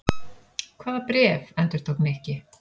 Hvaða bréf? endurtók Nikki.